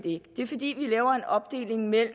ikke det er fordi vi laver en opdeling af